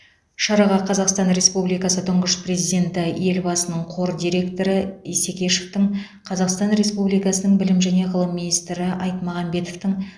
шараға қазақстан республикасы тұңғыш президенті елбасының қор дирекоры исекешевтің қазақстан республикасының білім және ғылым министрі айтмағамбетовтің